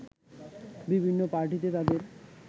বিভিন্ন পার্টিতে তাদের